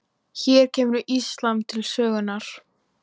Hér kemur íslam til sögunnar.